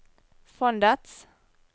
fondets